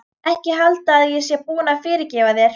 Ekki halda að ég sé búin að fyrirgefa þér.